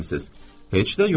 Heç də yox.